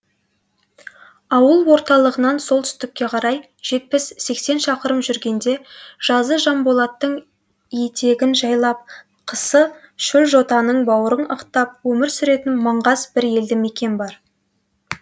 ауыл орталығынан солтүстікке қарай жетпіс сексен шақырым жүргенде жазы жанболаттың етегін жайлап қысы шөлжотаның бауырын ықтап өмір сүретін маңғаз бір елді мекен бар